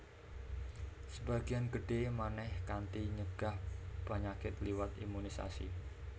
Sebagéan gedhé manèh kanthi nyegah panyakit liwat imunisasi